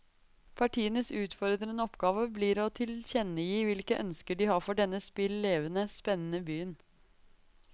Partienes utfordrende oppgave blir å tilkjennegi hvilke ønsker de har for denne spill levende, spennende byen.